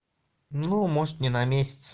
ну может не на месяц